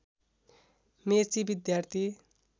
मेची विद्यार्थी